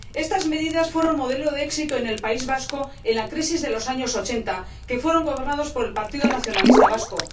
Estas medidas fueron modelo de éxito en el País Vasco en la crisis de los años 80, que fueron gobernados por el Partido Nacionalista Vasco.